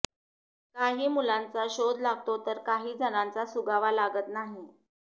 काही मुलांचा शोध लागतो तर काही जणांचा सुगावा लागत नाही